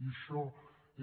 i això